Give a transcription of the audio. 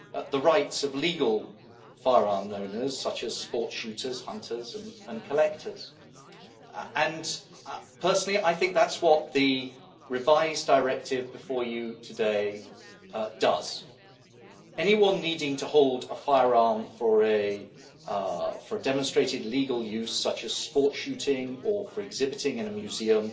the rights of legal firearm owners such as sport shooters, hunters and collectors. Personally, I think that is what the revised Directive before you today does. Anyone needing to hold a firearm for a demonstrated legal use, such as sport shooting or for exhibiting in a museum,